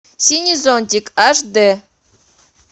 синий зонтик аш дэ